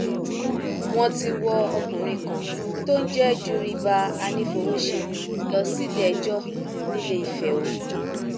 wọn ti wọ ọkùnrin kan tó ń jẹ juribas anífowóṣe lọ síléẹjọ ní iléìfẹ o